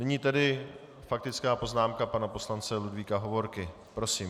Nyní tedy faktická poznámka pana poslance Ludvíka Hovorky, prosím.